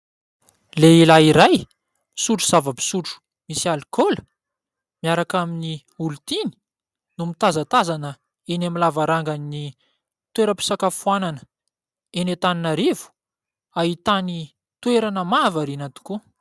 Lehilahy iray, misotro zava-pisotro misy alkaola, miaraka amin'ny olon-tiany no mitazatazana eny amin'ny lavarangan'ny toeram-pisakafoanana eny Antananarivo. Ahitany toerana mahavariana tokoa.